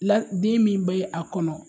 La d den min be a kɔnɔ